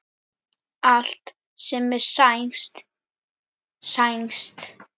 Allt sem er sænskt, sænskt.